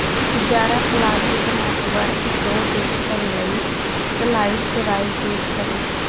ਗਿਆਰਾਂ classic network show ਦੇਖਣ ਲਈ ਸਲਾਈਡਜ਼ ਰਾਹੀਂ ਕਲਿਕ ਕਰੋ